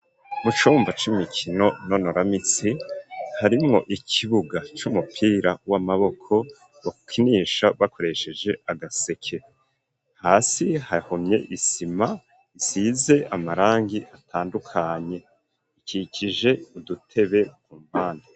Mu cumba c'imikino nonoramitsi harimwo ikibuga c'umupira w'amaboko bakinisha bakoresheje agaseke hasi hahomye isima isize amarangi atandukanye ikikije udutebe ku mpande.